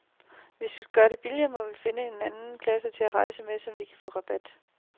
Hvis vi skal gøre det billigt, må vi finde en anden klasse at rejse med, så vi kan få rabat.